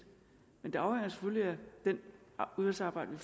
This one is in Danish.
men det afhænger selvfølgelig af det udvalgsarbejde